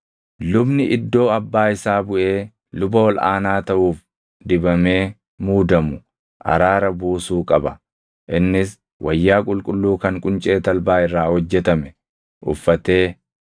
Lubni iddoo abbaa isaa buʼee luba ol aanaa taʼuuf dibamee muudamu araara buusuu qaba; innis wayyaa qulqulluu kan quncee talbaa irraa hojjetame uffatee,